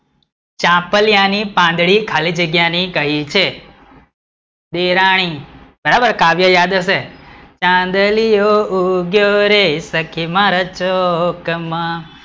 ચાંપલિયા પાંદડી ખાલી જગ્યા ને કહી છે દેરાણી, બરાબર કાવ્ય યાદ હશે, ચાંદલિયો ઉગ્યો સખી મારા ચોક